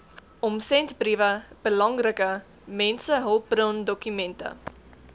omsendbriewe belangrike mensehulpbrondokumente